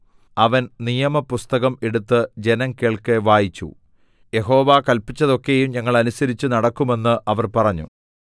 അവൻ നിയമപുസ്തകം എടുത്ത് ജനം കേൾക്കെ വായിച്ചു യഹോവ കല്പിച്ചതൊക്കെയും ഞങ്ങൾ അനുസരിച്ചു നടക്കുമെന്ന് അവർ പറഞ്ഞു